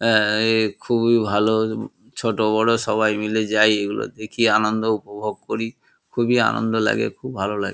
এ এ এ খুবই ভালো ছোট বড় সবাই মিলে যাই এগুলো দেখি আনন্দ উপভোগ করি খুবিই আনন্দ লাগে খুব ভাল লাগ--